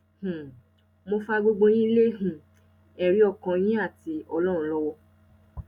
um mo fa gbogbo yín lé um ẹrí ọkàn yín àti ọlọrun lọwọ